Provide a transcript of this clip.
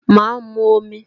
Ma mu omi